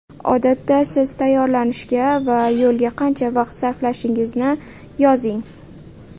Odatda siz tayyorlanishga va yo‘lga qancha vaqt sarflashingizni yozing.